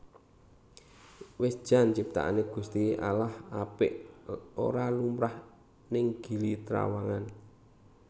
Wis jan ciptaane Gusti Allah apik ora lumrah ning Gili Trawangan